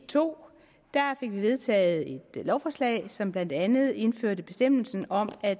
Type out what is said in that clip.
to fik vi vedtaget et lovforslag som blandt andet indførte bestemmelsen om at